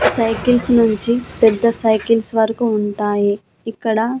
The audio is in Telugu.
సైకిల్స్ నుంచి పెద్ద సైకిల్స్ వరకు ఉంటాయి ఇక్కడ.